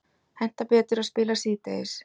Hentar betur að spila síðdegis